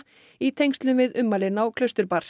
í tengslum við ummælin á